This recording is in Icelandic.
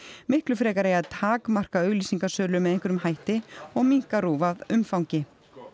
miklu frekar eigi að takmarka auglýsingasölu með einhverjum hætti og minnka RÚV að umfangi